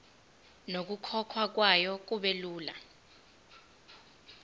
nokukhokhwa kwayo kubelula